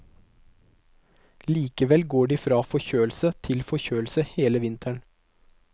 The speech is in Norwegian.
Likevel går de fra forkjølelse til forkjølelse hele vinteren.